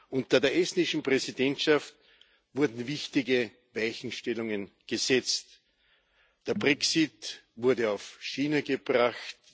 Unter der estnischen Präsidentschaft wurden wichtige Weichenstellungen gesetzt Der Brexit wurde auf die Schiene gebracht.